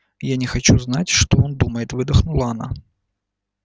я не хочу знать что он думает выдохнула она